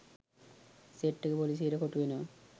Set එක පොලිසියට කොටු වෙනවා.